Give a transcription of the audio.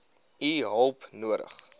u hulp nodig